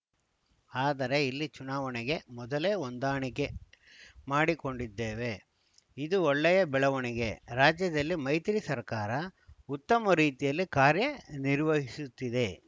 ಆದರೆ ಇಲ್ಲಿ ಚುನಾವಣೆಗೆ ಮೊದಲೇ ಹೊಂದಾಣಿಕೆ ಮಾಡಿಕೊಂಡಿದ್ದೇವೆ ಇದು ಒಳ್ಳೆಯ ಬೆಳವಣಿಗೆ ರಾಜ್ಯದಲ್ಲಿ ಮೈತ್ರಿ ಸರ್ಕಾರ ಉತ್ತಮ ರೀತಿಯಲ್ಲಿ ಕಾರ್ಯ ನಿರ್ವಹಿಸುತ್ತಿದೆ